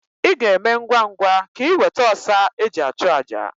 Ị ga-eme ngwa ngwa ka iweta ọsa e ji achụ àjà.